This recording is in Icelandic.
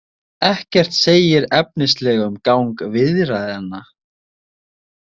Ekkert segir efnislega um gang viðræðnanna